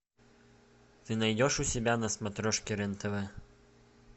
ты найдешь у себя на смотрешке рен тв